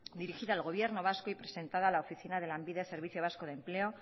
dirigida al gobierno vasco y presentada a la oficina de lanbide servicio vasco de empleo